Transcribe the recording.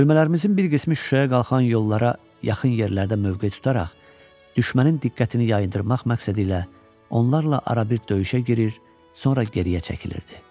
Bölmələrimizin bir qismi Şuşaya qalxan yollara yaxın yerlərdə mövqe tutaraq, düşmənin diqqətini yayındırmaq məqsədilə onlarla arabir döyüşə girir, sonra geriyə çəkilirdi.